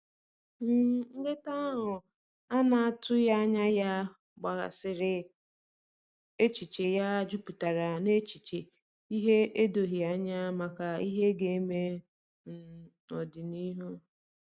um Nleta ahu ana atughi anya ya gbaghasiri echiche ya juputara na echiche ihe edoghi anya maka ihe ga-eme um n'odịnihu